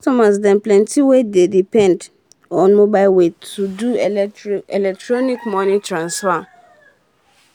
some as dey plenty wey dey um depend um on mobile way to do electronic um moni transfer